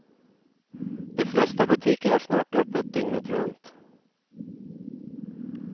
De flesta butiker har snart öppet dygnet runt.